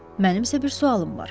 Mənim isə bir sualım var.